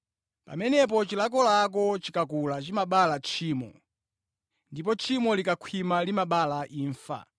Pamenepo, chilakolako chikakula chimabala tchimo; ndipo tchimo likakhwima limabereka imfa.